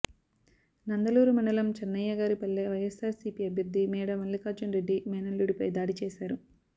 నందలూరు మండలం చెన్నయ్యగారిపల్లె వైఎస్సార్సీపీ అభ్యర్థి మేడా మల్లికార్జునరెడ్డి మేనల్లుడిపై దాడి చేశారు